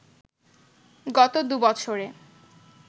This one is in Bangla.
গত দু’বছরে